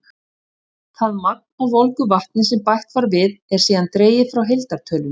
Það magn af volgu vatni sem bætt var við, er síðan dregið frá heildartölunni.